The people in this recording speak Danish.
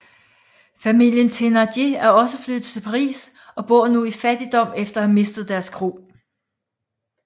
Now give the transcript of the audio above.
Familien Thénardier er også flyttet til Paris og bor nu i fattigdom efter at have mistet deres kro